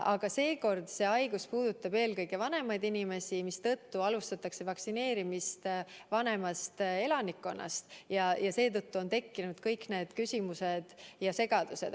Aga seekordne haigus puudutab eelkõige vanemaid inimesi, mistõttu alustatakse vaktsineerimist vanemast elanikkonnast, ja seetõttu on tekkinud kõik need küsimused ja segadused.